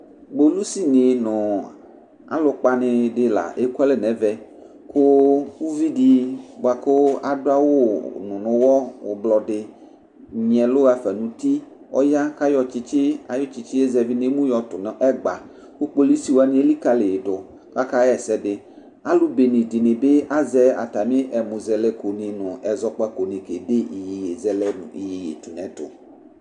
Ƙpolusi nɩ nʋ alʋkpa nɩ ɖɩ la eƙualɛ n'ɛvɛ; ƙʋ uvi ɖɩ ƙʋ aɖʋ awʋnʋ nʋ ʋwɔ ɛblɔ ɖɩ nyɩɛlʋɣafa nʋ uti, ɔƴa ƙ'aƴɔ aƴʋ tsɩtsɩ ƴɛ zɛvɩ n'emu ƴɔtʋ n'ɛgba, ƙʋ ƙpolusi wanɩ eliƙǝliƴɩɖʋ ƙ'akaɣa ɛsɛ ɖɩAlʋ bene ɖɩnɩ bɩ azɛ atamɩ ɛmʋzɛlɛko nɩ nʋ ɛzckpako nɩ ƙede iƴeƴezɛlɛ nʋ iƴeƴeɖʋ nʋ ɛtʋ